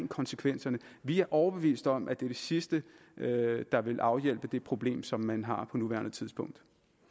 konsekvenserne vi er overbeviste om at det er det sidste der vil afhjælpe det problem som man har på nuværende tidspunkt